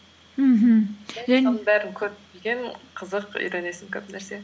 мхм көріп ең қызық үйренесің көп нәрсе